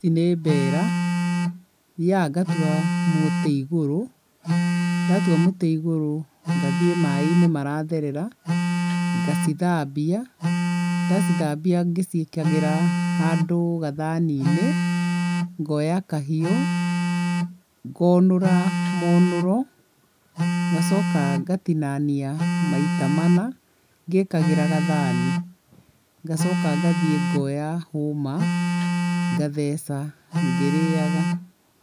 Ici nĩ mbera. Thiaga ngatua mũtĩ igũrũ, ndatua mũtĩ igũrũ ngathiĩ maĩ-inĩ maratherera ngacithambia. Ndacithambia ngĩcikagĩra handũ gathani-inĩ ngoya kahiũ ngonũra monũro, ngacoka ngatinania maita mana ngĩkagĩra gathani. Ngacoka ngathiĩ ngoya hũma ngacetha ngĩrĩga.